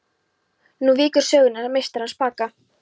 Nú víkur sögunni að meistaranum spaka.